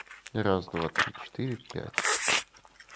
и раз-два-три-четыре-пять